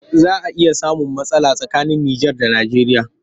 Za a iya samun matsala tsakanin Nijar da Nijeriya